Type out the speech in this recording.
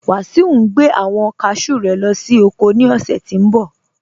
Wasiu ní gbẹ̀ awọn káshú rẹ̀ lọ sí oko ní ọṣẹ̀ tí ń bọ̀.